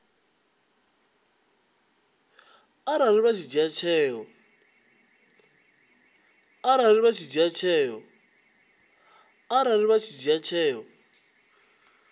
arali vha tshi dzhia tsheo